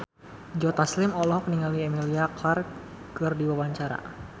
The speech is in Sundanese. Joe Taslim olohok ningali Emilia Clarke keur diwawancara